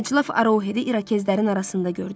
Əclaf Arohedi İrokezlərin arasında gördüm.